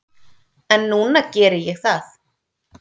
En núna geri ég það.